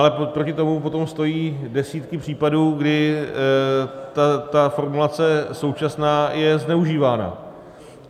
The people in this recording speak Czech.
Ale proti tomu potom stojí desítky případů, kdy ta formulace současná je zneužívána.